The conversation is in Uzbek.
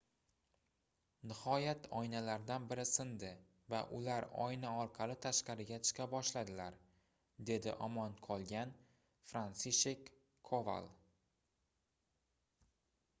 nihoyat oynalardan biri sindi va ular oyna orqali tashqariga chiqa boshladilar dedi omon qolgan fransishek koval